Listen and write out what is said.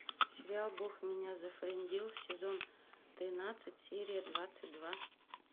сериал бог меня зафрендил сезон тринадцать серия двадцать два